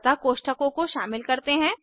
अतः कोष्ठकों को शामिल करते हैं